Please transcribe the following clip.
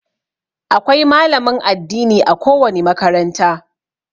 Akwai malamin addini a ko wani makaranta.